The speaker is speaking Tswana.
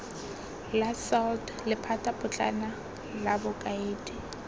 la salt lephatapotlana la bokaedi